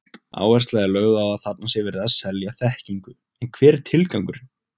Áhersla er lögð á að þarna sé verið að selja þekkingu, en hver er tilgangurinn?